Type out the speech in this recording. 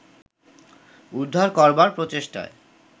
উদ্ধার করবার প্রচেষ্টায়